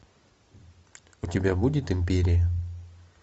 у тебя будет империя